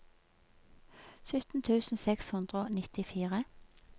sytten tusen seks hundre og nittifire